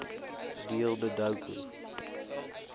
deel de doku